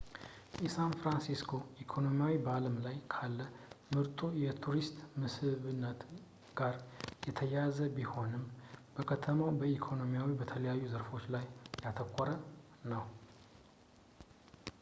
የሳን ፍራንሲስኮ ኢኮኖሚ በአለም ላይ ካለ ምርጡ የቱሪስት መስህብነት ጋር የተያያዘ ቢሆንም የከተማው ኢኮኖሚ በተለያዩ ዘርፎች ላይ ያተኮረ ነው